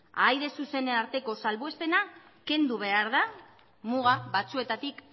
ahaide zuzenen arteko salbuespena kendu behar da muga batzuetatik